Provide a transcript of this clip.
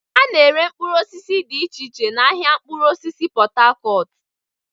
A na-ere mkpụrụ osisi dị iche iche n'ahịa mkpụrụ osisi Pot Tarcot.